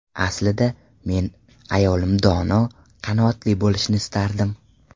Aslida, men ayolim dono, qanoatli bo‘lishini istardim.